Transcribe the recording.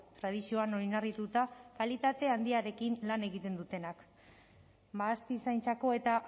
tradizioan oinarrituta kalitate handiarekin lan egiten dutenak mahastizaintzako eta